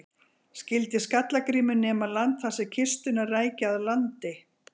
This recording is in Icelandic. Skyldi Skalla-Grímur nema land þar sem kistuna ræki að landi.